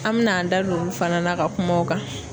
An mɛna an da don olu fana na ka kuma o kan.